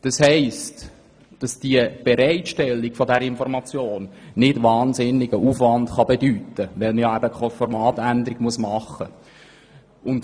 Das heisst, dass die Bereitstellung dieser Informationen keinen wahnsinnigen Aufwand bedeuten kann, wenn keine Formatänderungen gemacht werden müssen.